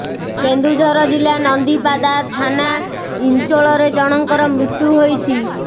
କେନ୍ଦୁଝର ଜିଲ୍ଲା ନନ୍ଦିପାଦା ଥାନା ଇଞ୍ଚୋଳରେ ଜଣଙ୍କର ମୃତ୍ୟୁ ହୋଇଛି